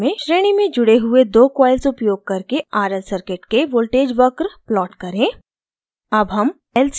एक नियत कार्य में श्रेणी में जुड़े हुए दो coils उपयोग करके rl circuit के voltage वक्र plot करें